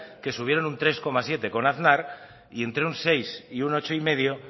que subieron un tres coma siete con aznar y entre un seis y un ocho y medio